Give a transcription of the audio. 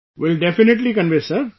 Will definitely convey Sir